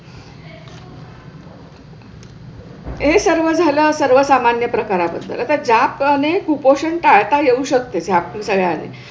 हे सर्व झाल्यावर सर्व सामान्य प्रकार असला ज्या प्रमाणे कुपोषण टाळता येऊ शकते. त्यामुळे